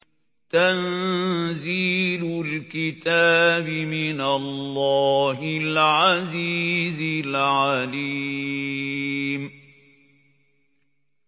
تَنزِيلُ الْكِتَابِ مِنَ اللَّهِ الْعَزِيزِ الْعَلِيمِ